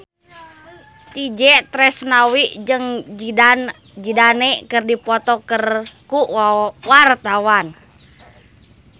Itje Tresnawati jeung Zidane Zidane keur dipoto ku wartawan